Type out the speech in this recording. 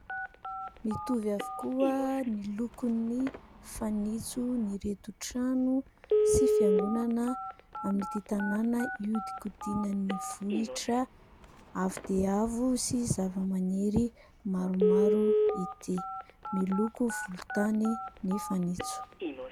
Mitovy avokoa ny lokon'ny fanitson'ireto trano sy fiangonana amin'ity tanàna hiodikodinan'ny vohitra avo dia avo sy zavamaniry maromaro ity. Miloko volontany ny fanitso.